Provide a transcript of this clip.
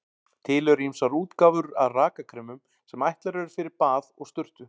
Til eru ýmsar útgáfur af rakakremum sem ætlaðar eru fyrir bað og sturtu.